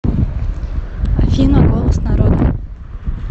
афина голос народа